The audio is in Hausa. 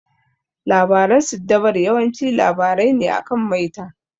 Labaran siddabaru yawanci labarai ne akan maita.